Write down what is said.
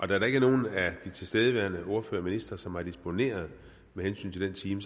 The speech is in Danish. da der ikke er nogen af de tilstedeværende ordførere og ministre som har disponeret med hensyn til den time